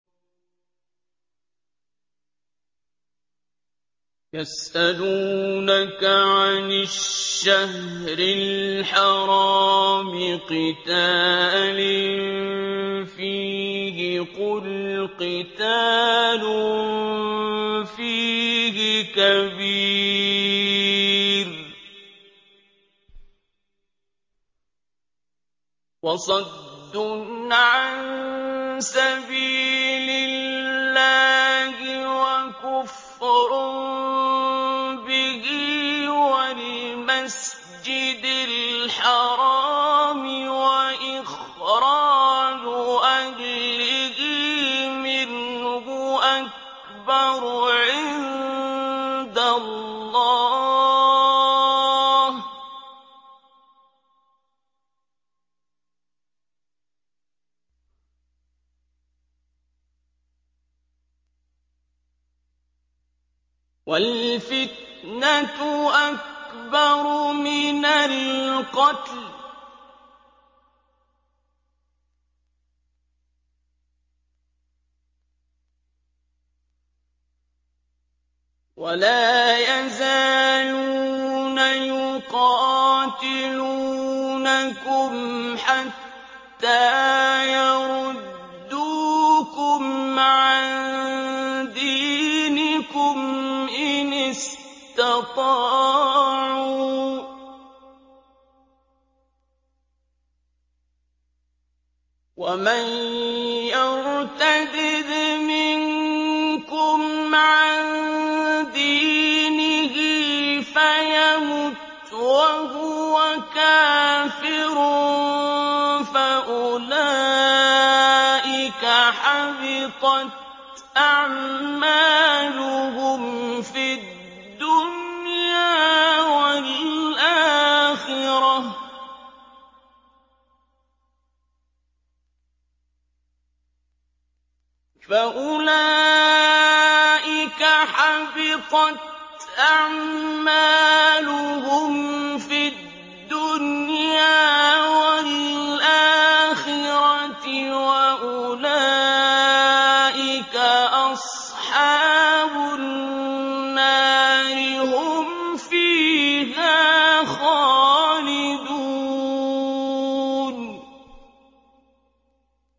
يَسْأَلُونَكَ عَنِ الشَّهْرِ الْحَرَامِ قِتَالٍ فِيهِ ۖ قُلْ قِتَالٌ فِيهِ كَبِيرٌ ۖ وَصَدٌّ عَن سَبِيلِ اللَّهِ وَكُفْرٌ بِهِ وَالْمَسْجِدِ الْحَرَامِ وَإِخْرَاجُ أَهْلِهِ مِنْهُ أَكْبَرُ عِندَ اللَّهِ ۚ وَالْفِتْنَةُ أَكْبَرُ مِنَ الْقَتْلِ ۗ وَلَا يَزَالُونَ يُقَاتِلُونَكُمْ حَتَّىٰ يَرُدُّوكُمْ عَن دِينِكُمْ إِنِ اسْتَطَاعُوا ۚ وَمَن يَرْتَدِدْ مِنكُمْ عَن دِينِهِ فَيَمُتْ وَهُوَ كَافِرٌ فَأُولَٰئِكَ حَبِطَتْ أَعْمَالُهُمْ فِي الدُّنْيَا وَالْآخِرَةِ ۖ وَأُولَٰئِكَ أَصْحَابُ النَّارِ ۖ هُمْ فِيهَا خَالِدُونَ